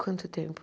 Quanto tempo?